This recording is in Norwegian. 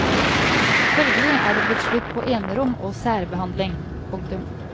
Følgelig er det blitt slutt på enerom og særbehandling. punktum